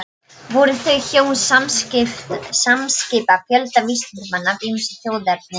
Voru þau hjón samskipa fjölda vísindamanna af ýmsu þjóðerni.